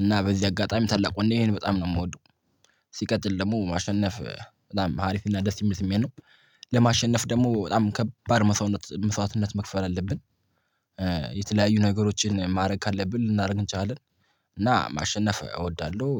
እና በዚህ አጋጣሚ ታላቅ ወንዴን በጣም ነው የምወደው። ሲቀጥል ደግሞ ማሸነፍ በጣም ሀሪፍና ደስ የሚል ስሜት ነው። ለማሸነፍ ደግሞ በጣም ከባድ መስዋዕትነት መስዋዕትነት መክፈል አለብን። የተለያዩ ነገሮችን ማድረግ ካለብን ልናደርግ እንችላለን። እና ማሸነፍ እወዳለሁ።